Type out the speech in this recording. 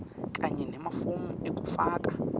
kanye nemafomu ekufaka